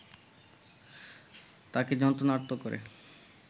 তাঁকে যন্ত্রণার্ত করে